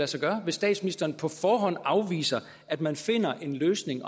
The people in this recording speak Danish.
sig gøre hvis statsministeren på forhånd afviser at man finder en løsning